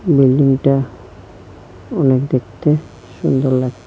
বিল্ডিংটা অনেক দেখতে সুন্দর লাগছে।